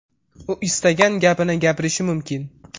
U istagan gapini gapirishi mumkin.